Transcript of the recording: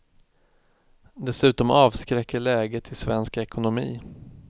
Dessutom avskräcker läget i svensk ekonomi.